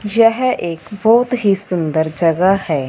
यह एक बहुत ही सुंदर जगह है।